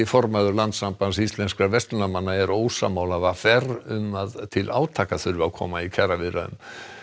formaður Landssambands íslenskra verslunarmanna er ósammála v r um að til átaka þurfi að koma í kjaraviðræðum